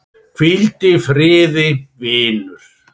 Hvíldu í friði, vinur.